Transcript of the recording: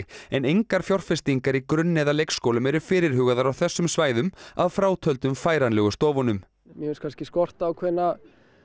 en engar fjárfestingar í grunn eða leikskólum eru fyrirhugaðar á þessum svæðum að frátöldum færanlegu stofunum mér finnst kannski skorta ákveðna